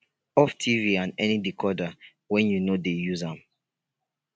off tv and any decoder wen yu no dey use am